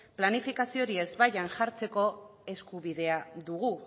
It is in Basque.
planifikaziori ezbaian jartzeko eskubidea dugu